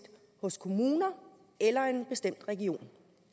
hos kommuner eller en bestemt region